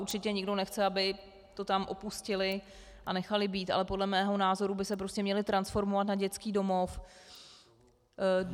Určitě nikdo nechce, aby to tam opustili a nechali být, ale podle mého názoru by se prostě měli transformovat na dětský domov.